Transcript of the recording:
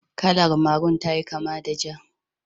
Kalar Maru ta kama da Ja.